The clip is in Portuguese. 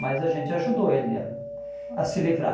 Mas a gente ajudou ele a a se livrar.